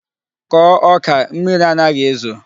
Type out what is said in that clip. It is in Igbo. Kọọ ọka! Mmiri anaghi ezo.